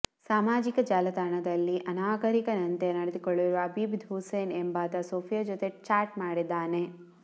ಸಾಮಾಜಿಕ ಜಾಲತಾಣದಲ್ಲಿ ಅನಾಗರಿಕನಂತೆ ನಡೆದುಕೊಳ್ಳುವ ಅಬೀದ್ ಹುಸೇನ್ ಎಂಬಾತ ಸೋಫಿಯಾ ಜೊತೆ ಚಾಟ್ ಮಾಡಿದ್ದಾನೆ